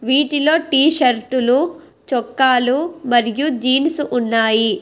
వీటిలో టీ షర్టులు చొక్కాలు మరియు జీన్స్ ఉన్నాయి.